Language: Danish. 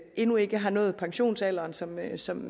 endnu ikke har nået pensionsalderen sådan som